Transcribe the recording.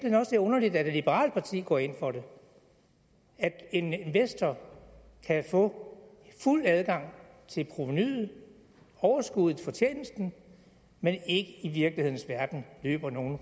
er underligt at et liberalt parti går ind for at en investor kan få fuld adgang til provenuet overskuddet fortjenesten men ikke i virkelighedens verden løber nogen